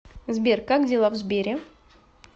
сбер как дела в сбере